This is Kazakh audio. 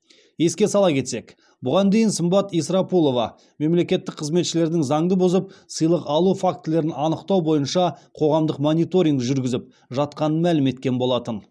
еске сала кетсек бұған дейін сымбат исрапулова мемлекеттік қызметшілердің заңды бұзып сыйлық алу фактілерін анықтау бойынша қоғамдық мониторинг жүргізіп жатқанын мәлім еткен болатын